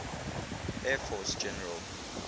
air force general